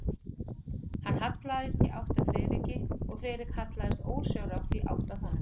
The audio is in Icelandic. Hann hallaðist í átt að Friðriki og Friðrik hallaðist ósjálfrátt í átt að honum.